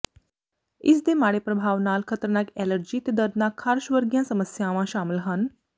ਇਸ ਦੇ ਮਾੜੇ ਪ੍ਰਭਾਵ ਨਾਲ ਖਤਰਨਾਕ ਐਲਰਜੀ ਤੇ ਦਰਦਨਾਕ ਖਾਰਸ਼ ਵਰਗੀਆਂ ਸਮੱਸਿਆਵਾਂ ਸ਼ਾਮਲ ਹਨ